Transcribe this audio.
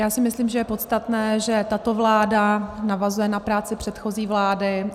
Já si myslím, že je podstatné, že tato vláda navazuje na práci předchozí vlády.